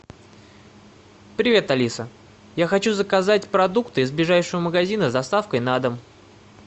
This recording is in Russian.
привет алиса я хочу заказать продукты из ближайшего магазина с доставкой на дом